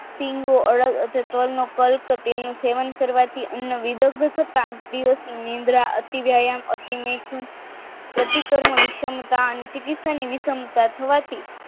પ્રતિ કર્મો વિષમતા અને ચિકિત્સાની વિષમતા થવા થી